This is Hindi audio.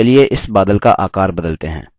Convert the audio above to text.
चलिए इस बादल का आकार बदलते हैं